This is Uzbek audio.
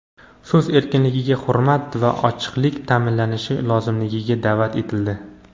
so‘z erkinligiga hurmat va ochiqlik ta’minlanishi lozimligiga da’vat etildi.